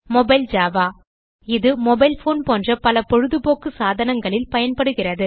Mobile Java இது mobile phone போன்ற பல பொழுதுபோக்கு சாதனங்களில் பயன்படுகிறது